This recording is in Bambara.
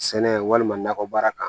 Sɛnɛ walima nakɔ baara kan